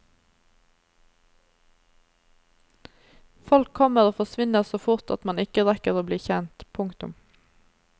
Folk kommer og forsvinner så fort at man ikke rekker å bli kjent. punktum